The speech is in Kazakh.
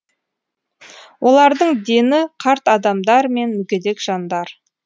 олардың дені қарт адамдар мен мүгедек жандар